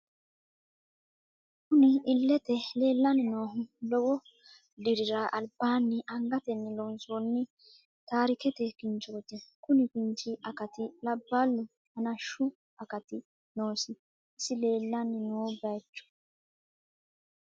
Kunni illete leelani noohu lowo dirrara alibaani angateni loonsoni taarikete kinchooti kunni kinchi akkati labbalu hanashshu akkati noosi isi leelani noo bayiicho....